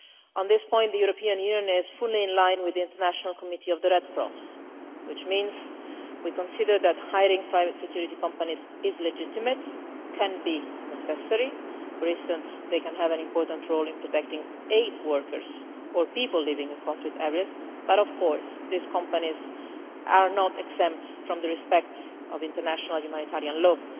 On this point the European Union is fully in line with the International Committee of the Red Cross, which means we consider that hiring private security companies is legitimate and can be necessary for instance, they can have an important role in protecting aid workers or people living in conflict areas but, of course, these companies are not exempt from the observance of international humanitarian law.